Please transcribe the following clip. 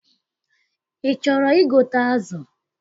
Ị chọrọ igote azụ?